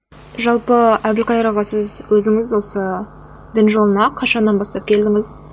жалпы әбілқайыр аға сіз өзіңіз осы дін жолына қашаннан бастап келдіңіз